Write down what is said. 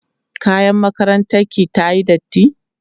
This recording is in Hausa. kayan makarantar ki tayi datti?